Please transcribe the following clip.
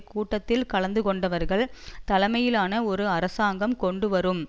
கூட்டத்தில் கலந்து கொண்டவர்கள் தலைமையிலான ஒரு அரசாங்கம் கொண்டுவரும்